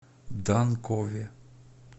данкове